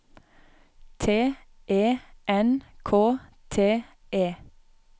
T E N K T E